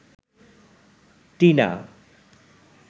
Tina